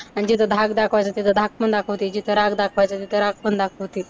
आणि जिथं धाक दाखवायचं तिथं धाक पण दाखवते, जिथं राग दाखवायचं तिथं राग पण दाखवते.